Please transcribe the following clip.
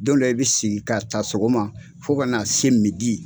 Don dɔw i bɛ sigi ka taa sɔgɔma fo ka na se midi.